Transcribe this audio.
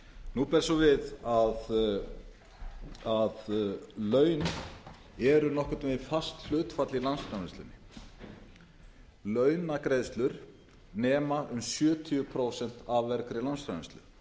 nú ber svo við að laun eru nokkurn veginn fast hlutfall í landsframleiðslunni launagreiðslur nema um sjötíu prósent af vergri landsframleiðslu